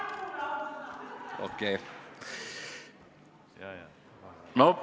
Okei.